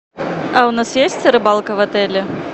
а у нас есть рыбалка в отеле